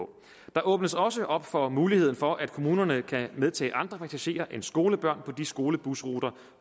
der åbnes også op for muligheden for at kommunerne kan medtage andre passagerer end skolebørn på de skolebusruter